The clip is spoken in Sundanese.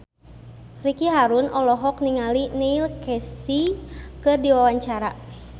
Ricky Harun olohok ningali Neil Casey keur diwawancara